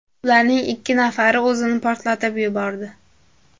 Ularning ikki nafari o‘zini portlatib yubordi.